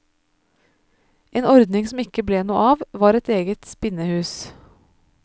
En ordning som ikke ble noe av, var et eget spinnehus.